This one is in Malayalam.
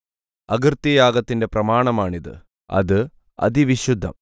അകൃത്യയാഗത്തിന്റെ പ്രമാണമാണിത് അത് അതിവിശുദ്ധം